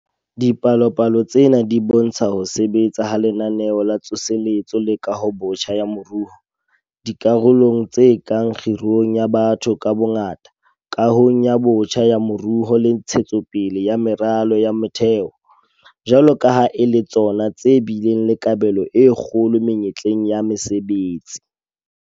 Dipalopalo tsena di bo ntsha ho sebetsa ha Lenaneo la Tsoseletso le Kahobotjha ya Moruo - dikarolong tse kang kgirong ya batho ka bongata, kahong botjha ya moruo le ntshetso pele ya meralo ya motheo - jwalo ka ha e le tsona tse bileng le kabelo e kgolo menyetleng ena ya mesebetsi.